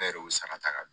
Bɛɛ de y'u sarata ka